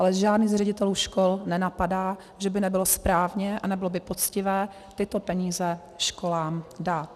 Ale žádný z ředitelů škol nenapadá, že by nebylo správné a nebylo by poctivé tyto peníze školám dát.